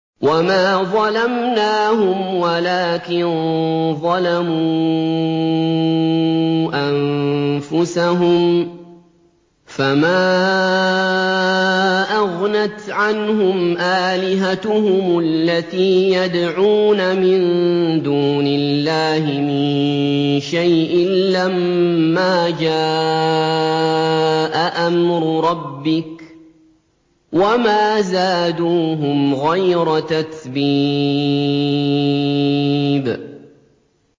وَمَا ظَلَمْنَاهُمْ وَلَٰكِن ظَلَمُوا أَنفُسَهُمْ ۖ فَمَا أَغْنَتْ عَنْهُمْ آلِهَتُهُمُ الَّتِي يَدْعُونَ مِن دُونِ اللَّهِ مِن شَيْءٍ لَّمَّا جَاءَ أَمْرُ رَبِّكَ ۖ وَمَا زَادُوهُمْ غَيْرَ تَتْبِيبٍ